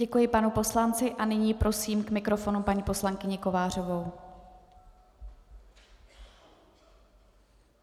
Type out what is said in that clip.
Děkuji panu poslanci a nyní prosím k mikrofonu paní poslankyni Kovářovou.